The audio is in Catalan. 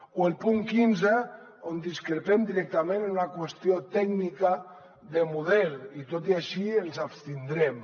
o el punt quinze on discrepem directament en una qüestió tècnica de model i tot i així ens hi abstindrem